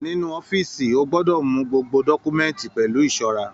Nínú ọ̀fiísí, a gbọdọ mú gbogbo dọkumẹ̀ntí pẹlu ìṣọrà.